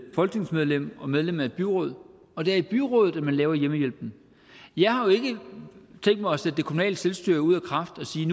folketingsmedlem og medlem af et byråd og det er i byrådet at man laver hjemmehjælpen jeg har jo ikke tænkt mig at sætte det kommunale selvstyre ud af kraft og sige